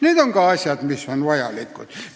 Need on ka asjad, mis on vajalikud.